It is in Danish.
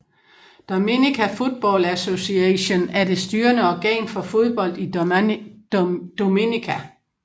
Dominica Football Association er det styrende organ for fodbold i Dominica